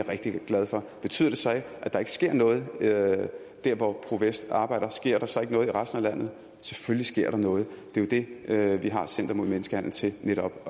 rigtig glad for betyder det så at der ikke sker noget der hvor pro vest arbejder sker der så ikke noget i resten af landet selvfølgelig sker der noget det er jo det vi har center mod menneskehandel til netop